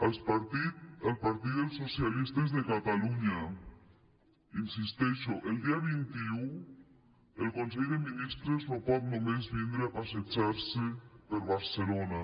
al partit dels socialistes de catalunya hi insisteixo el dia vint un el consell de mi·nistres no pot només vindre a passejar·se per barcelona